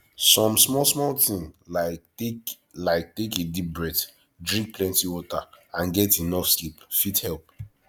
some small small thing like take like take a deep breath drink plenty water and get enough sleep fit help